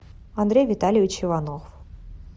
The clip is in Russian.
андрей витальевич иванов